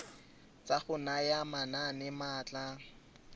tsa go naya manane maatla